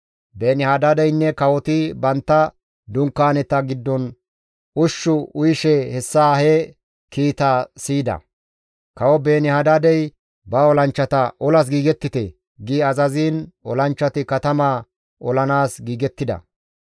Beeni-Hadaadeynne kawoti bantta dunkaaneta giddon ushshu uyishe hessa he kiitaa siyida; kawo Beeni-Hadaadey ba olanchchata, «Olas giigettite» gi azaziin olanchchati katamaa olanaas giigettida.